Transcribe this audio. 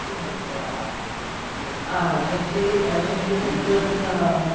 Como era o teatro? Vocês. A gente, a gente não